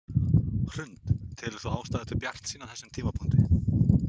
Hrund: Telur þú ástæðu til bjartsýni á þessum tímapunkti?